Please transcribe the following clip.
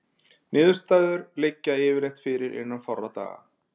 Niðurstöður liggja yfirleitt fyrir innan fárra daga.